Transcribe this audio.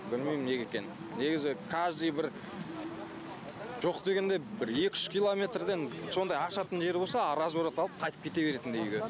білмеймін неге екенін негізі каждый бір жоқ дегенде бір екі үш километрден сондай ашатын жер болса разворот алып қайтып кете беретіндей үйге